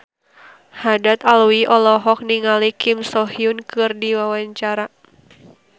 Haddad Alwi olohok ningali Kim So Hyun keur diwawancara